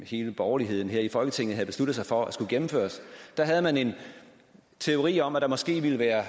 hele borgerligheden her i folketinget havde besluttet sig for skulle gennemføres havde man en teori om at der måske ville være